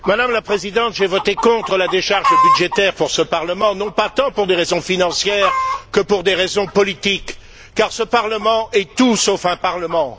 Madame la Présidente, j'ai voté contre la décharge budgétaire pour ce Parlement, non pas tant pour des raisons financières que pour des raisons politiques, car ce Parlement est tout sauf un Parlement.